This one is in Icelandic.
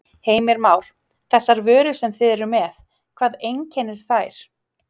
Heimir Már: Þessar vörur sem þið eruð með, hvað einkennir þær?